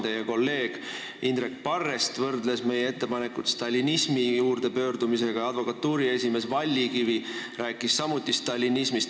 Teie kolleeg Indrek Parrest võrdles meie ettepanekut stalinismi juurde pöördumisega ja advokatuuri esimees Vallikivi rääkis samuti stalinismist.